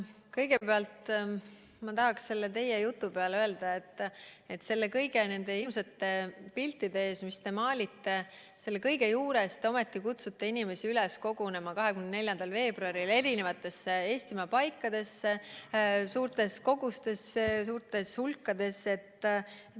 Kõigepealt ma tahan teie jutu peale öelda, et kõigi nende hirmsate piltide ees, mis te maalisite, selle kõige juures te ometi kutsute inimesi üles kogunema 24. veebruaril Eestimaa eri paikadesse suurtes hulkades.